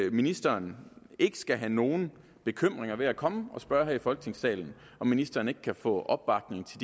at ministeren skal have nogen bekymringer ved at komme og spørge her i folketingssalen om ministeren kan få opbakning til